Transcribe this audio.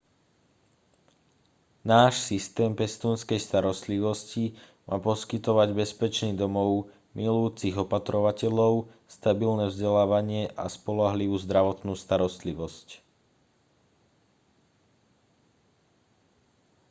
náš systém pestúnskej starostlivosti má poskytovať bezpečný domov milujúcich opatrovateľov stabilné vzdelávanie a spoľahlivú zdravotnú starostlivosť